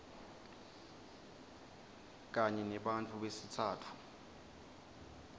kanye nebantfu besitsatfu